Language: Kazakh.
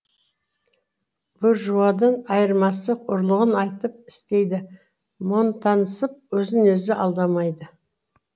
буржуадан айырмасы ұрлығын айтып істейді монтанысып өзін өзі алдамайды